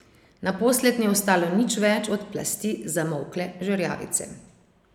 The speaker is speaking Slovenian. Naposled ni ostalo nič več od plasti zamolkle žerjavice.